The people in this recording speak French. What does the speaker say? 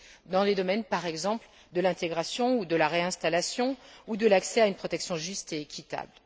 dans les domaines, par exemple, de l'intégration ou de la réinstallation, ou de l'accès à une protection juste et équitable.